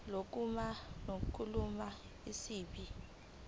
lokukhuluma ngolimi isib